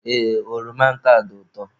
Ee, oroma nke a dị ụtọ.